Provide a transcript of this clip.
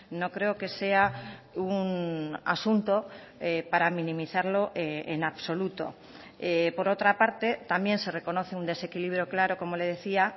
no creo que sea un asunto para minimizarlo en absoluto por otra parte también se reconoce un desequilibrio claro como le decía